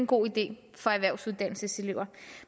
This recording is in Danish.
god idé for erhvervsuddannelseselever